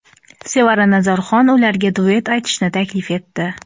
Sevara Nazarxon ularga duet aytishni taklif etdi.